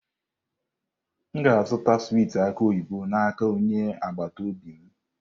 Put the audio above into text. M ga-azụta swiiti aki oyibo n'aka onye agbata obi m.